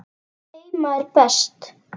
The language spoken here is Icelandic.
Heima er best.